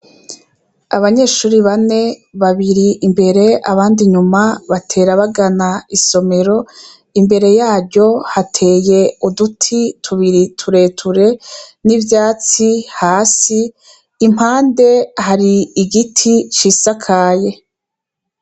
Abanyeshuri bane babiri imbere abandi nyuma batera bagana isomero imbere yaryo hateye uduti tubiri tureture n'ivyatsi hasi impande hari igiti cisakaye.